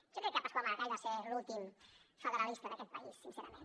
jo crec que pasqual maragall va ser l’últim federalista d’aquest país sincerament